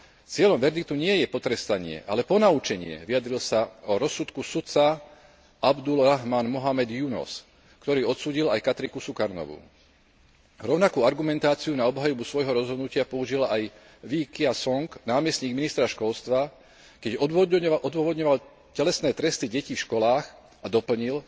Cieľom verdiktu nie je potrestanie, ale ponaučenie, vyjadril sa o rozsudku sudca Abdúl Rahmán Mohamed Yunos, ktorý odsúdil aj Kartiku Shukarnovú. Rovnakú argumentáciu na obhajobu svojho rozhodnutia použil aj Wee Ka Siong, námestník ministra školstva, keď odôvodňoval telesné tresty detí v školách a doplnil,